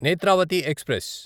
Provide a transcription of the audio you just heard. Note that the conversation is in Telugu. నేత్రావతి ఎక్స్ప్రెస్